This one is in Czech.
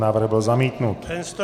Návrh byl zamítnut.